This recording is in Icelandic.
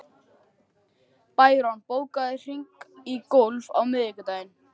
Bæron, bókaðu hring í golf á miðvikudaginn.